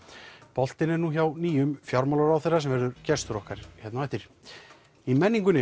boltinn er nú hjá nýjum fjármálaráðherra sem verður gestur okkar hér á eftir í menningunni